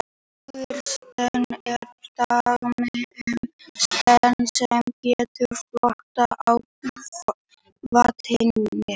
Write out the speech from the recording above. Vikursteinn er dæmi um stein sem getur flotið á vatni.